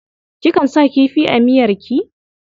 Kikan sa kifi a miyarki?